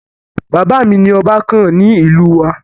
Bàbá mi ni ọba kàn ní ìlú wa.